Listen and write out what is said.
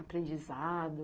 Aprendizado.